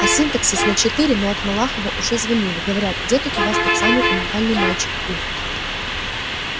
а синтаксис на четыре но от малахова уже звонили говорят где тут у вас тот самый уникальный мальчик у